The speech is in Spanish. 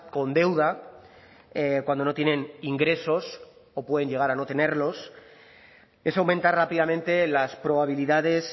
con deuda cuando no tienen ingresos o pueden llegar a no tenerlos es aumentar rápidamente las probabilidades